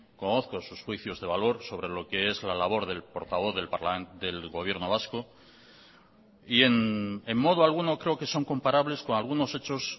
conozco sus juicios de valor sobre lo qué es la labor del portavoz del gobierno vasco y en modo alguno creo que son comparables con algunos hechos